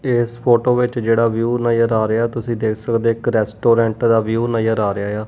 ਇਹ ਇਸ ਫੋਟੋ ਵਿੱਚ ਜਿਹੜਾ ਵਿਊ ਨਜ਼ਰ ਆ ਰਿਹਾ ਤੁਸੀਂ ਦੇਖ ਸਕਦੇ ਇੱਕ ਰੈਸਟੋਰੈਂਟ ਦਾ ਵਿਊ ਨਜ਼ਰ ਆ ਰਿਹਾ ਏ ਆ।